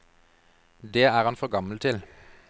Det er han for gammel til.